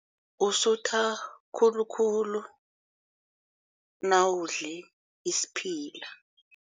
Usutha khulukhulu nawudle isiphila.